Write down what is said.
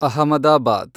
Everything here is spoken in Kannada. ಅಹಮದಾಬಾದ್